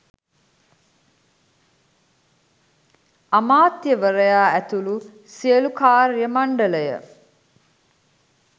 අමාත්‍යවරයා ඇතුළු සියලු කාර්ය මණ්ඩලය